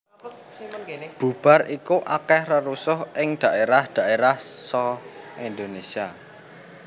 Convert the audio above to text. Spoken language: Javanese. Bubar iku akèh rerusuh ing dhaérah dhaérah sa Indonésia